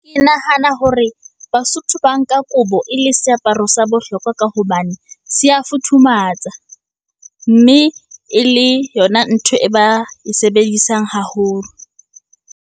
Ke nahana hore Basotho ba nka kobo e le seaparo sa bohlokwa ka hobane se a futhumatsa. Mme e le yona ntho e ba e sebedisang haholo.